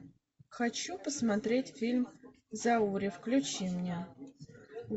хочу посмотреть фильм зауре включи мне